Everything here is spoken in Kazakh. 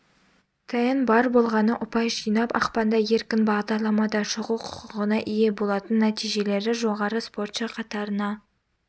тен бар болғаны ұпай жинап ақпанда еркін бағдарламада шығу құқығына ие болатын нәтижелері жоғары спортшы қатарына